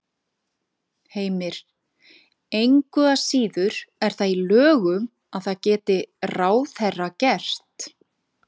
Heimir: Engu að síður er það í lögum að það geti ráðherra gert?